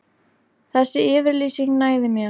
Þessi yfirlýsing nægði mér.